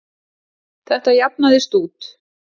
Þetta jafnaðist út.